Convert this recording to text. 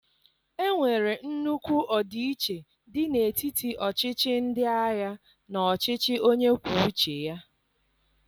Enwere nnukwu ọdịiche dị n'etiti ọchịchị ndị agha na ọchịchị onye kwuo uche ya